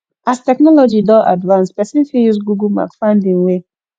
as technology Accepted advance persin fit use google map find in way